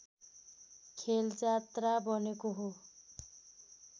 खेल जात्रा बनेको हो